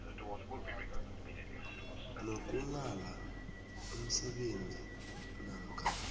sokunghala umsebenzi namkha